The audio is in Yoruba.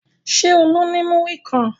Ṣé Olú ní múrí kan?